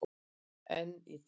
En í dag.